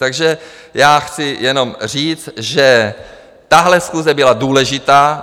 Takže já chci jenom říct, že tahle schůze byla důležitá.